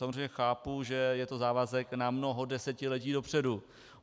Samozřejmě chápu, že je to závazek na mnoho desetiletí dopředu.